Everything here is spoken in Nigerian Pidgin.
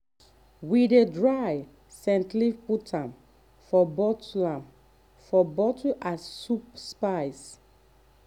we dey dry scent leaf put am for bottle am for bottle as soup spice.